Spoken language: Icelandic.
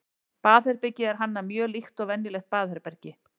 baðherbergið er hannað mjög líkt og venjulegt baðherbergi